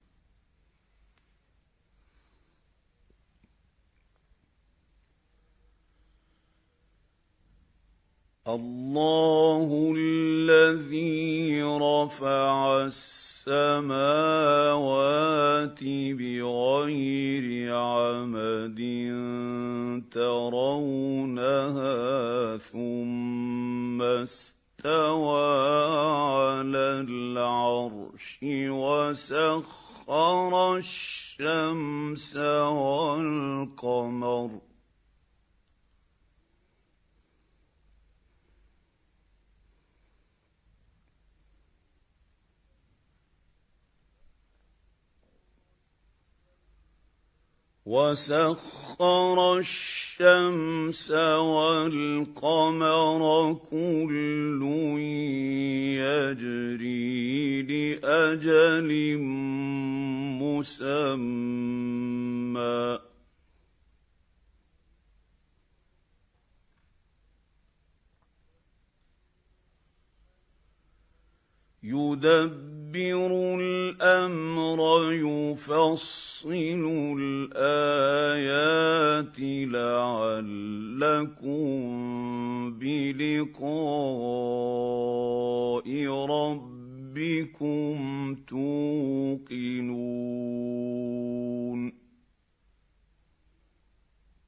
اللَّهُ الَّذِي رَفَعَ السَّمَاوَاتِ بِغَيْرِ عَمَدٍ تَرَوْنَهَا ۖ ثُمَّ اسْتَوَىٰ عَلَى الْعَرْشِ ۖ وَسَخَّرَ الشَّمْسَ وَالْقَمَرَ ۖ كُلٌّ يَجْرِي لِأَجَلٍ مُّسَمًّى ۚ يُدَبِّرُ الْأَمْرَ يُفَصِّلُ الْآيَاتِ لَعَلَّكُم بِلِقَاءِ رَبِّكُمْ تُوقِنُونَ